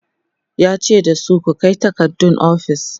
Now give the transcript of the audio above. yace dasu "ku Kai takardun ofis!"